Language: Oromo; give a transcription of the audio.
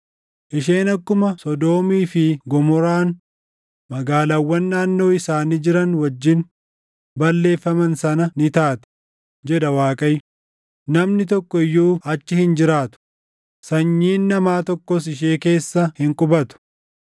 Isheen akkuma Sodoomii fi Gomoraan magaalaawwan naannoo isaanii jiran wajjin balleeffaman sana ni taati” jedha Waaqayyo, “namni tokko iyyuu achi hin jiraatu, sanyiin namaa tokkos ishee keessa hin qubatu.